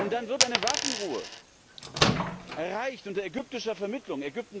Dann wird eine Waffenruhe erreicht unter ägyptischer Vermittlung.